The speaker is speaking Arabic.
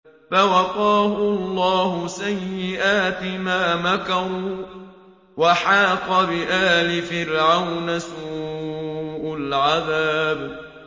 فَوَقَاهُ اللَّهُ سَيِّئَاتِ مَا مَكَرُوا ۖ وَحَاقَ بِآلِ فِرْعَوْنَ سُوءُ الْعَذَابِ